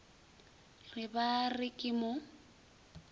re ba re ke mo